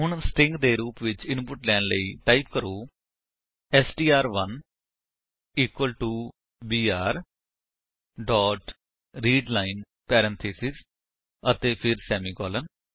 ਹੁਣ ਸਟ੍ਰਿੰਗ ਦੇ ਰੂਪ ਵਿੱਚ ਇਨਪੁਟ ਲੈਣ ਲਈ ਟਾਈਪ ਕਰੋ ਐਸਟੀਆਰ1 equal to BR dot readline parenthesis ਅਤੇ ਫਿਰ ਸੇਮੀਕਾਲਨ